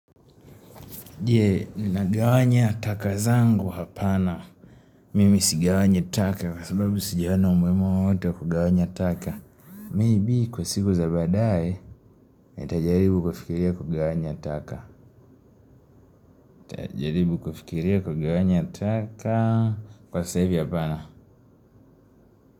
Je ninagawanya taka zangu hapana. Mimi sigawanyi taka kwa sababu sijaona umuhimu wowote wa kugawanya taka. Maybe kwa siku za baadaye nitajaribu kufikiria kugawanya taka. Nitajaribu kufikiria kugawanya taka kwa sasa hivi hapana.